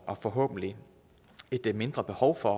og forhåbentlig et mindre behov for